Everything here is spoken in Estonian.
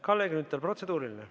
Kalle Grünthal, protseduuriline.